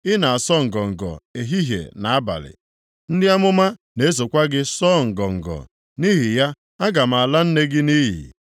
Ị na-asọ ngọngọ ehihie na abalị, ndị amụma na-esokwa gị sụọ ngọngọ. Nʼihi ya aga m ala nne gị nʼiyi